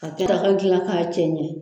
Ka kɛta gilan k'a cɛ ɲɛ.